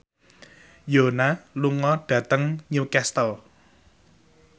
Yoona lunga dhateng Newcastle